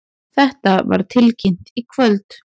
Þetta var tilkynnt í kvöld